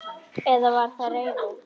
Eða var það reiði?